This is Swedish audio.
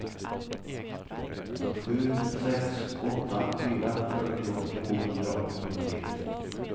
sju sex åtta fyra fyrtio tvåhundraåttiotre